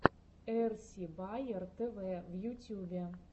эрси баер тв в ютюбе